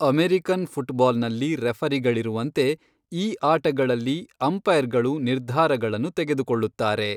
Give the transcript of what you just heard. American ಫುಟ್ಬಾಲ್ನಲ್ಲಿ ರೆಫರಿಗಳಿರುವಂತೆ, ಈ ಆಟಗಳಲ್ಲಿ ಅಂಪೈರ್ಗಳು ನಿರ್ಧಾರಗಳನ್ನು ತೆಗೆದುಕೊಳ್ಳುತ್ತಾರೆ.